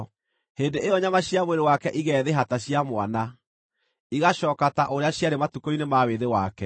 hĩndĩ ĩyo nyama cia mwĩrĩ wake igeethĩha ta cia mwana; igaacooka ta ũrĩa ciarĩ matukũ-inĩ ma wĩthĩ wake.